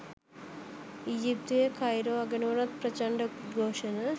ඊජිප්තුවේ Cairo අගනුවරත් ප්‍රචණ්ඩ උද්ඝෝෂණ